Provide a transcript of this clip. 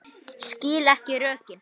Skil ekki rökin.